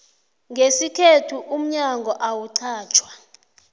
ngesikhethu umnyango awuqatjwa